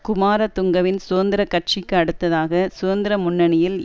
குமாரதுங்கவின் சுதந்திர கட்சிக்கு அடுத்ததாக சுதந்திர முன்னணியில்